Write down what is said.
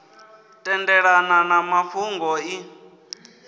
tendelana na na fhungo iḽi